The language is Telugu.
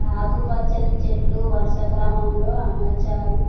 ఆకు పచ్చని చెట్లు వరుస క్రమంలో అమర్చారు.